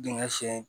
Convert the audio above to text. Dingɛ sen